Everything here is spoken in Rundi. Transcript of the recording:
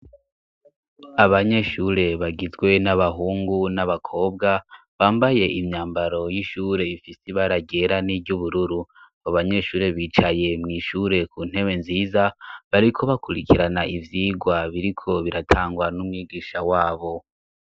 Abanyeshure bagizwe n'abahungu n'abakobwa bambaye imyambaro y'ishure ifise ibara ryera n'iry'ubururu. Abo banyeshure bicaye mw'ishure ku ntebe nziza, bariko bakurikirana ivyigwa biriko biratangwa n'umwigisha wabo.